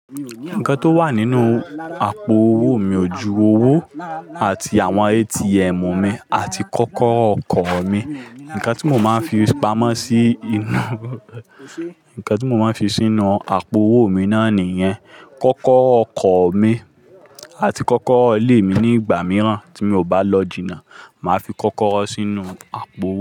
Nǹkan tó wà nínú àpò owó mi, òju owó àti àwọn ATM mi àti kọ́kọ́rọ́ ọkọ̀ mi. Nǹkan tí mo máa ń fi pamọ́ sí inú, nǹkan tí mo máa ń fi sínú àpò owó mi náà nìyẹn. Kọ́kọ́rọ́ ọkọ̀ mi àti kọ́kọ́rọ́ ilé mi ní ìgbà mìíràn tí mi ò bá lọ jìnnà, màá fi kọ́kọ́rọ́ sínú àpò owó.